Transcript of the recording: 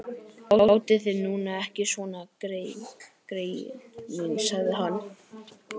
Látið þið nú ekki svona, greyin mín sagði hann.